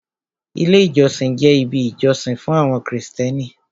Ilé ìjọsìn jẹ́ ibi ìjọsìn fún àwọn krìstẹ́nì.